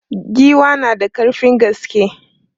Giwa na da ƙarfin gaske.